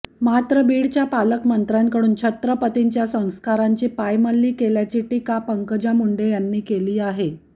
मात्र बीडच्या पालकमंत्र्यांकडून छत्रपतींच्या संस्कारांची पायमल्ली केल्याची टीका पंकजा मुंडे यांनी केली आहे